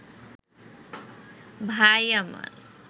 ভাই আমার